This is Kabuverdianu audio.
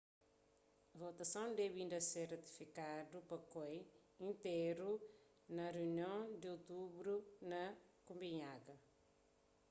votason debe inda ser ratifikadu pa koi intéru na se runion di otubru na kopenhaga